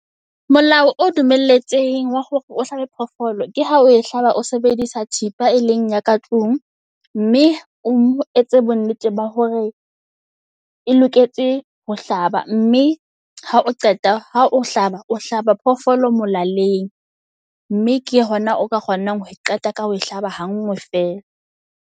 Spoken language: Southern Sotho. Molao o dumelletsweng wa hore o hlabe phoofolo ke ha o e hlaba o sebedisa thipa e leng ya ka tlung. Mme o etse bo nnete ba hore e loketse ho hlaba. Mme ha o qeta ha o hlaba, o hlaba phoofolo molaleng. Mme ke hona o ka kgonang ho qeta ka ho e hlaba hangwe fela.